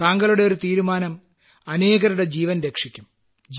താങ്കളുടെ ഒരു തീരുമാനം അനേകരുടെ ജീവൻ രക്ഷിക്കും